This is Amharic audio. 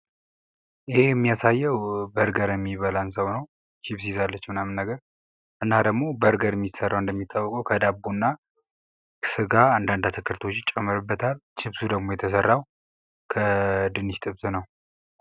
ይህ የሚያሳየው በርገር ለሚበላን ሰው ነው ችብስ ይዛለች ምናም ነገር እና ደግሞ በርገር የሚሰራው እንደሚታወቀው ከዳቦ እና ስጋ አንዳንድ አትክልቶች ይጨመሩበታል ችብሱ ደግሞ የተሰራው ከድንች ክትፍ ነው።